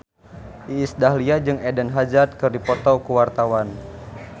Iis Dahlia jeung Eden Hazard keur dipoto ku wartawan